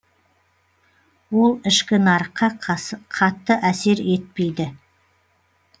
ол ішкі нарыққа қатты әсер етпейді